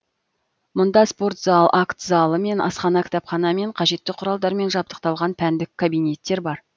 мұнда спорт зал акт залы мен асхана кітапхана мен қажетті құралдармен жабдықталған пәндік кабинеттер бар